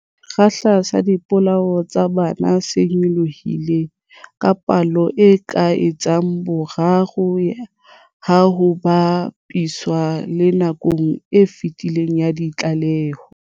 Sekgahla sa dipolao tsa bana se nyolohile ka palo e ka etsang boraro ha ho ba piswa le nakong e fetileng ya ditlaleho.